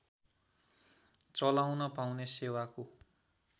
चलाउन पाउने सेवाको